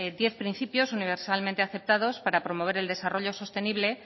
diez principios universalmente aceptados para promover el desarrollo sostenible